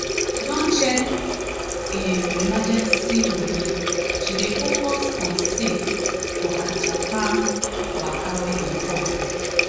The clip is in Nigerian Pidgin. as she don check im emergency money she dey focus on save for her japan waka wey dey come.